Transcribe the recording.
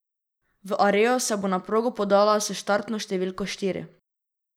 V Areju se bo na progo podala s štartno številko štiri.